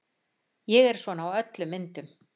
Ég er svona á öllum myndum.